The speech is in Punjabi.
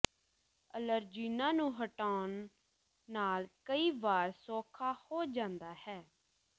ਅਲਰਜੀਨਾਂ ਨੂੰ ਹਟਾਉਣ ਨਾਲ ਕਈ ਵਾਰ ਸੌਖਾ ਹੋ ਜਾਂਦਾ ਹੈ